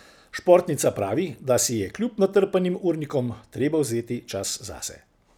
Športnica pravi, da si je kljub natrpanim urnikom treba vzeti čas zase.